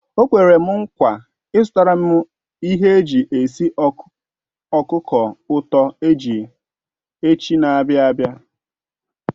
O kwere m nkwa izutaram ihe eji esi okuko uto echi n'abia abi